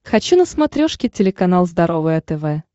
хочу на смотрешке телеканал здоровое тв